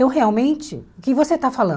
Então, realmente, o que você está falando?